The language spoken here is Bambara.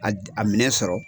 A minɛn sɔrɔ.